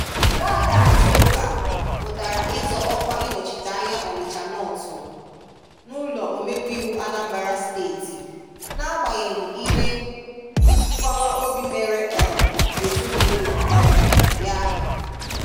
Nwa ada Azụka pụtara ịzọ ọkwá ịnochite anyá Onịchá Nọtu1, n'ụlọ omebe ịwụ Anambra Steeti, n'agbanyeghị ihe. mgbawa obi mere um ezinụlọ um ya.